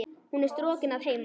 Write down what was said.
Hún er strokin að heiman.